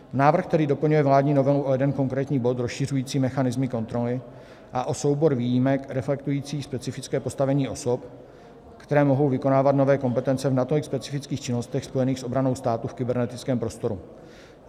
Návrh tedy doplňuje vládní novelu o jeden konkrétní bod rozšiřující mechanismy kontroly a o soubor výjimek reflektujících specifické postavení osob, které mohou vykonávat nové kompetence v natolik specifických činnostech spojených s obranou státu v kybernetickém prostoru.